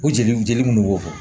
O jeli jeli munnu b'o fɔ